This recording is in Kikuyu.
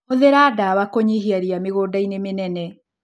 Hũthĩra ndawa kũnyihia ria mĩgũndainĩ mĩnene.